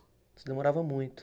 Você demorava muito.